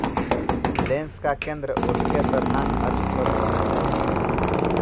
lens का केंद्र उसके प्रधान अक्ष पर होना चाहिए